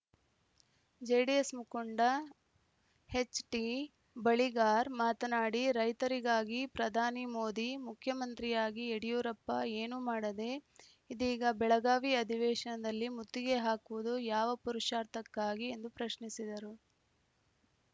JDS ಮುಖಂಡ H T Baligar ಮಾತನಾಡಿ ರೈತರಿಗಾಗಿ ಪ್ರಧಾನಿ ಮೋದಿ ಮುಖ್ಯಮಂತ್ರಿಯಾಗಿ ಯಡಿಯೂರಪ್ಪ ಏನೂ ಮಾಡದೆ ಇದೀಗ ಬೆಳಗಾವಿ ಅಧಿವೇಶನದಲ್ಲಿ ಮುತ್ತಿಗೆ ಹಾಕುವುದು ಯಾವ ಪುರುಷಾರ್ಥಕ್ಕಾಗಿ ಎಂದು ಪ್ರಶ್ನಿಸಿದರು